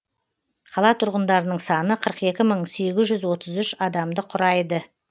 қала тұрғындарының саны қырық екі мың сегіз жүз отыз үш адамды құрайды